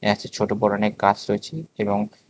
ছোট বড়ো অনেক গাছ রয়েছে এবং--